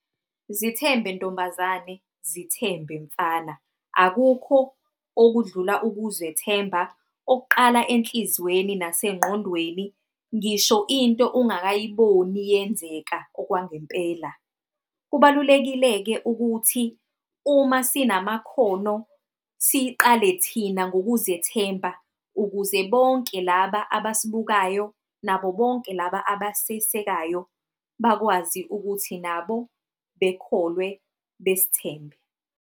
Zithembe ntombazane, zithembe mfana. Akukho okudlula ukuzethemba okuqala enhliziyweni nasengqondweni. Ngisho into ungakayiboni iyenzeka okwangempela. Kubalulekile-ke ukuthi uma sinamakhono siqale thina ngokuzethemba, ukuze bonke laba abasibukayo, nabo bonke laba abasisekayo bakwazi ukuthi nabo bekholwe besithemba.